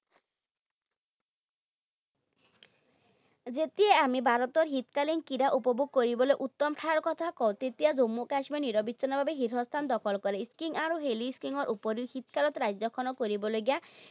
যেতিয়াই আমি ভাৰতৰ শীতকালীন ক্ৰীড়া উপভোগ কৰিবলৈ উত্তম ঠাইৰ কথা কওঁ, তেতিয়া জম্মু কাশ্মীৰে নিৰৱিচ্ছিন্নভাৱে শীৰ্ষস্থান দখল কৰে। Skiing আৰু hilly skiing ৰ উপৰিও শীতকালত ৰাজ্যখনত কৰিবলগীয়া